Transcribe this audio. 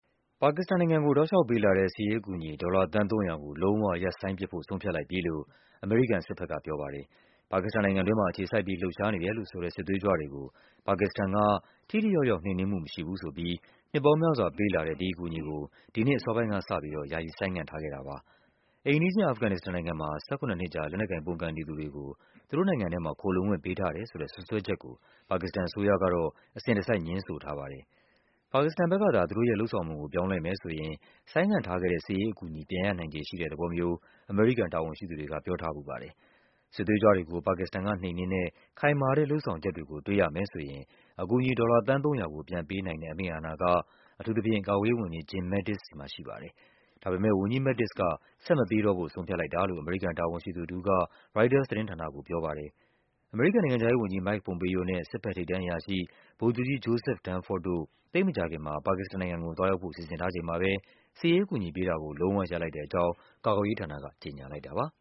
ပါကစ္စတန်နိုင်ငံကို ပေးလာတဲ့ စစ်ရေးအကူအညီ ဒေါ်လာ သန်း ၃၀၀ ကို လုံးဝ ရပ်ဆိုင်းပစ်ဖို့ ဆုံးဖြတ်လိုက်ပြီလို့ အမေရိကန် စစ်ဘက်က ဆုံးဖြတ်လိုက်ပါပြီ။ ပါကစ္စတန်နိုင်ငံတွင်းမှာ အခြေစိုက်ပြီး လှုပ်ရှားနေတယ်လို့ဆိုတဲ့ စစ်သွေးကြွတွေကို ပါကစ္စတန်က ထိထိရောက်ရောက် နှိမ်နင်းမှု မရှိဘူးဆိုပြီး နှစ်ပေါင်းများစွာပေးလာတဲ့ ဒီအကူအညီကို ဒီနှစ်အစောပိုင်းကစပြီး ဆိုင်းငံ့ထားတာပါ။ အိမ်နီးချင်း အာဖဂန်နစ္စတန်နိုင်ငံမှာ ၁၇ နှစ်ကြာ လက်နက်ကိုင်ပုန်ကန်နေသူတွေကို သူတို့နိုင်ငံထဲမှာ ခိုလှုံခွင့်ပေးထားတယ် ဆိုတဲ့ စွပ်စွဲချက်ကို ပါကစ္စတန်အစိုးရကတော့ အစဉ်တစိုက် ငြင်းဆိုထားပါတယ်။ ပါကစ္စတန်ဘက်ကသာ သူတို့ရဲ့ လုပ်ဆောင်ပုံကို ပြောင်းလဲမယ်ဆိုရင် ဆိုင်းငံ့ထားခဲ့တဲ့ စစ်ရေးအကူအညီ ပြန်ရနိုင်ခြေရှိတဲ့ သဘောမျိုး အမေရိကန် တာဝန်ရှိသူတွေက ပြောထားဖူးပါတယ်။ စစ်သွေးကြွတွေကို ပါကစ္စတန်ကနှိမ်နင်းတဲ့ ခိုင်မာတဲ့လုပ်ဆောင်ချက်တွေကို တွေ့ရမယ်ဆိုရင် အကူအညီ ဒေါ်လာ သန်း ၃၀၀ ကို ပြန်ပေးနိုင်တဲ့ အမိန့်အာဏာက ကာကွယ်ရေးဝန်ကြီး Jim Mattis ဆီမှာရှိပါတယ်။ ဒါပေမဲ့ ဝန်ကြီး Mattis က ဆက်မပေး တော့ဖို့ ဆုံးဖြတ်လိုက်တာလို့ အမေရိကန် တာဝန်ရှိသူတဦးက ရိုက်တာသတင်းဌာနကို ပြောပါတယ်။ အမေရိကန်နိုင်ငံခြားရေးုဝန်ကြီး Mike Pompeo နဲ့ စစ်ဘက် ထိပ်တန်းအရာရှိ ဗိုလ်ချုပ်ကြီး Joseph Dunford တို့ သိပ်မကြာခင် မှာ ပါကစ္စတန်နိုင်ငံကို သွားရောက်ဖို့ စီစဉ်ထားချိန်မှာပဲ စစ်ရေးအကူအညီပေးတာကို လုံးဝရပ်လိုက်တဲ့အကြောင်း ကာကွယ်ရေး ဌာနက ကြေညာလိုက်တာပါ